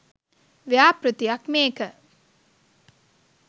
ව්‍යාපෘතියක් මේක.